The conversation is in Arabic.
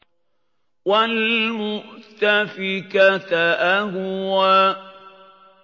وَالْمُؤْتَفِكَةَ أَهْوَىٰ